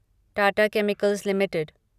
Tata chemicals limited